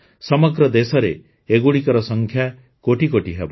ସମଗ୍ର ଦେଶରେ ଏଗୁଡ଼ିକର ସଂଖ୍ୟା କୋଟିକୋଟି ହେବ